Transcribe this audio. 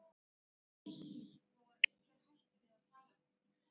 Þá gerir minna til þó að einhver hætti að tala við mann.